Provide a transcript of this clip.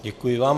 Děkuji vám.